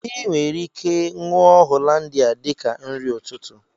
I nwere ike ṅụọ Hollandia dika nri ụtụtụ